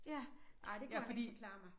Ja ej det kunne han ikke forklare mig